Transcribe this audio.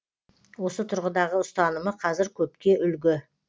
осы тұрғыдағы ұстанымы қазір көпке үлгі